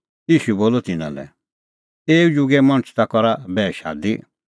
ईशू बोलअ तिन्नां लै एऊ जुगे मणछ ता करा बैह शादी